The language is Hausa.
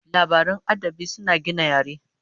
Labaran adabi suna gina yare